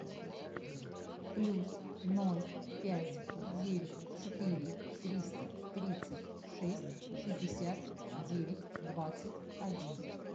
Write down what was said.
плюс ноль пять девять четыре триста тридцать шесть шестьдесят девять двадцать один